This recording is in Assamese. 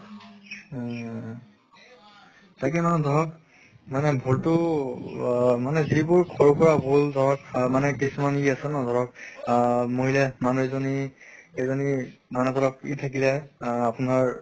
উম তাকে মানে ধৰক মানে ভুলটো আহ মানে যিবোৰ সৰু সুৰা ভুল ধৰক আহ মানে কিছুমান ই আছে ন ধৰক আহ মহিলা মানুহ এজনী এজনী মানে ধৰক ই থাকিলে আহ আপোনাৰ